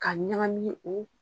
Ka ɲagami o